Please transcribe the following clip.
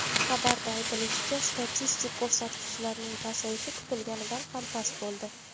Xabarda aytilishicha, statistik ko‘rsatkichlarning pasayishi kutilganidan ham past bo‘ldi.